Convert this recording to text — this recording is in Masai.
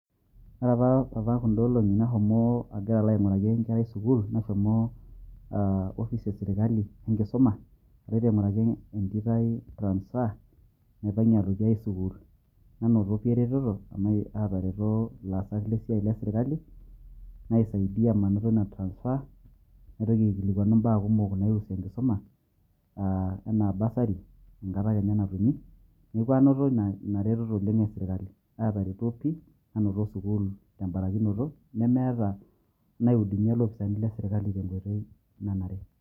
ore apa apa kuda olong'i nashomo agira aing'uraki enkerai sukuul, nashomo office e sirkali enkisuma aloito aing'uraki entito ai transfer naipang'ie aloitie enkae sukuul, nanoto sii eretoto amu aatareto ilaasak le siaai sirkali naisaidia manoto ina transfer, naitoki aikilikuanu ibaa kumok naipirta enkisuma, anaa bursary enkata kenya najing'u. neeku anoto ina retoto oleng esirkali, aatareto pii, nanoto sukuul teborakinoto nemeetaa naihudumia ilopisaani le sirkali te nkoitoi nanare.